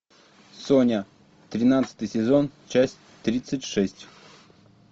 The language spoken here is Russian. соня тринадцатый сезон часть тридцать шесть